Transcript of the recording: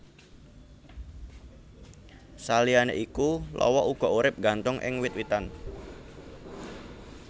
Saliyané iku lawa uga urip nggantung ing wit witan